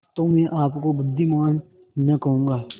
तो मैं आपको बुद्विमान न कहूँगा